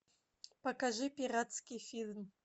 покажи пиратский фильм